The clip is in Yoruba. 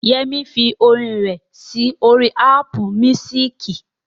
Yẹmí fi orin rẹ̀ sí orí Ápù míúsìkì